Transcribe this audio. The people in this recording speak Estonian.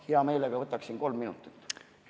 Hea meelega võtaksin kolm minutit juurde.